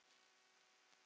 Besta skor, konur